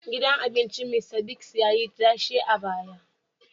Gidan abincin Mista Bigs ya yi tashe a baya